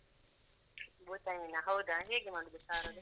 ಭೂತೈ ಮೀನಾ ಹೌದಾ ಹೇಗೆ ಮಾಡುದು ಸಾರದು?